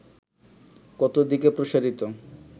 কত দিকে প্রসারিত